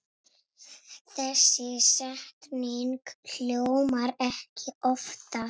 Þessi setning hljómar ekki oftar.